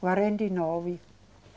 Quarenta e nove.